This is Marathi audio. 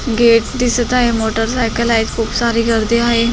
गेट दिसत आहे मोटरसायकल आहेत खुप सारी गर्दी आहे.